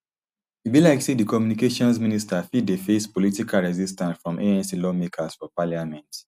e be like say di communications minister fit dey face political resistance from anc lawmakers for parliament